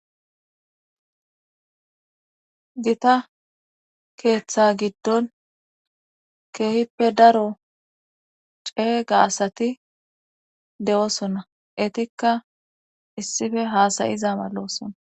gita keeththa giddon keehippe daro ceega asati de7osonna etikka issife haasayiza maloosonna